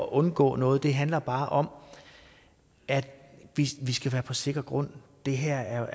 at undgå noget det handler bare om at vi skal være på sikker grund det her